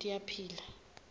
tiyaphila